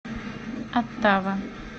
оттава